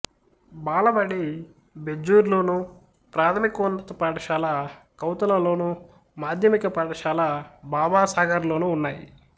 బాలబడి బెజ్జూర్లోను ప్రాథమికోన్నత పాఠశాల కౌతలలోను మాధ్యమిక పాఠశాల బాబాసాగర్లోనూ ఉన్నాయి